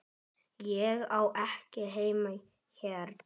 Ég á ekki heima hérna.